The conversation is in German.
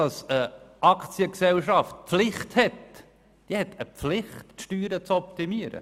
Eine Aktiengesellschaft hat die Pflicht, ihre Steuern zu optimieren.